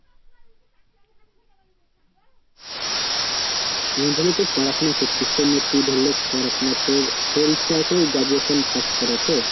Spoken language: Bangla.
মানে ধরেনে তুই পড়াশোনা করছিস তোর নে তুই ধরেনে পড়াশোনা তোর তোর ইচ্ছা আছে আমি graduation pass করার তো